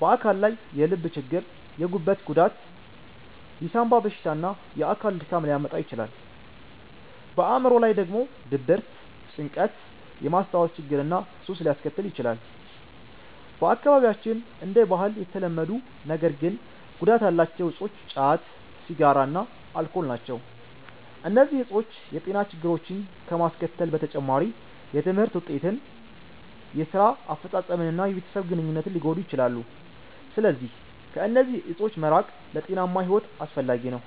በአካል ላይ የልብ ችግር፣ የጉበት ጉዳት፣ የሳንባ በሽታ እና የአካል ድካም ሊያመጣ ይችላል። በአዕምሮ ላይ ደግሞ ድብርት፣ ጭንቀት፣ የማስታወስ ችግር እና ሱስ ሊያስከትል ይችላል። በአካባቢያችን እንደ ባህል የተለመዱ ነገር ግን ጉዳት ያላቸው እፆች ጫት፣ ሲጋራ እና አልኮል ናቸው። እነዚህ እፆች የጤና ችግሮችን ከማስከተል በተጨማሪ የትምህርት ውጤትን፣ የስራ አፈጻጸምን እና የቤተሰብ ግንኙነትን ሊጎዱ ይችላሉ። ስለዚህ ከእነዚህ እፆች መራቅ ለጤናማ ሕይወት አስፈላጊ ነው።